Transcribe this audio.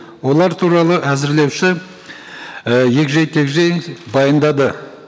олар туралы әзірлеуші і егжей тегжей баяндады